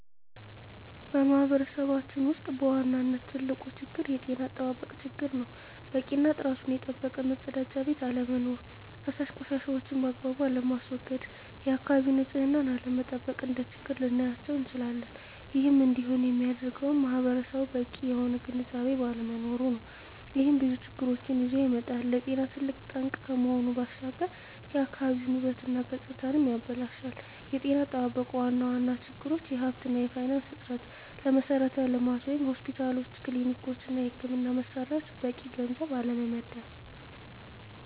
በማህበረሰባችን ውስጥ በዋናነት ትልቁ ችግር የጤና አጠባበቅ ችግር ነው። በቂ እና ጥራቱን የጠበቀ መፀዳጃ ቤት አለመኖር። ፈሳሽ ቆሻሻዎችን ባግባቡ አለማስዎገድ፣ የአካባቢን ንፅህና አለመጠበቅ፣ እንደ ችግር ልናያቸው እንችላለን። ይህም እንዲሆን የሚያደርገውም ማህበረሰቡ በቂ የሆነ ግንዝቤ ባለመኖሩ ነው። ይህም ብዙ ችግሮችን ይዞ ይመጣል። ለጤና ትልቅ ጠንቅ ከመሆኑ ባሻገር የአካባቢን ውበት እና ገፅታንም ያበላሻል። የጤና አጠባበቅ ዋና ዋና ችግሮች የሀብት እና የፋይናንስ እጥረት፣ ለመሠረተ ልማት (ሆስፒታሎች፣ ክሊኒኮች) እና የሕክምና መሣሪያዎች በቂ ገንዘብ አለመመደብ።